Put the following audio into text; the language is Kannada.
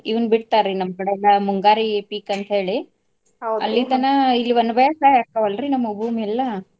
ಇವ್ನ್ ಬಿಡ್ತಾರಿ ನಮ್ಮ ಕಡೆ ಎಲ್ಲಾ ಮುಂಗಾರಿ ಪೀಕ ಅಂತ ಹೇಳಿ ಇಲ್ಲಿ ಒಣಬೇಸಾಯ ಆಕ್ಕಾವ ಅಲ್ರಿ ನಮ್ಮು ಭೂಮಿ ಎಲ್ಲಾ.